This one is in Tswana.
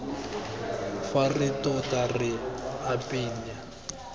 fa re tota re apeela